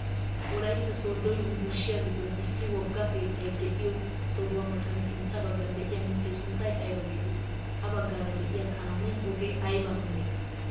Wolaytta sooddo yunburushiyaa giddon issi wogga keettay de'iyoo sohuwaa matan sintta baggan de'iyaa mittee sunttay ayba getettii? ha baggaara de'iyaa kaamiyaa ogee ayba meree?